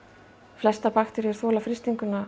flestar bakteríur þola frystinguna